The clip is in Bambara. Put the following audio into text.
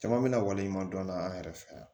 Caman bɛna waleɲuman dɔn n'an yɛrɛ fɛ yan